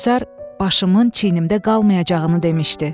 Komissar başımın çiynimdə qalmayacağını demişdi.